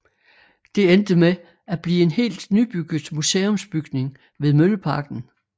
Det endte med at blive en helt nybygget museumsbygning ved Mølleparken